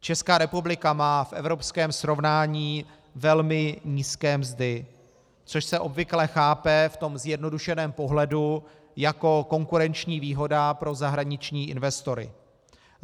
Česká republika má v evropském srovnání velmi nízké mzdy, což se obvykle chápe v tom zjednodušeném pohledu jako konkurenční výhoda pro zahraniční investory.